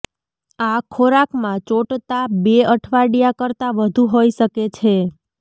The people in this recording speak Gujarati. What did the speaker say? આ ખોરાકમાં ચોંટતા બે અઠવાડિયા કરતા વધુ હોઇ શકે છે